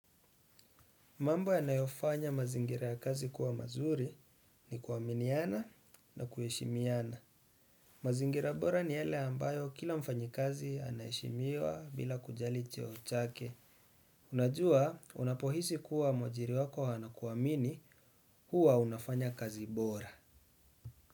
Mambo yanayofanya mazingira ya kazi kuwa mazuri ni kuaminiana na kuheshimiana. Mazingira bora ni yale ambayo kila mfanyakazi anaheshimiwa bila kujali cheo chake. Unajua unapohisi kuwa mwajiri wako anakuamini huwa unafanya kazi bora.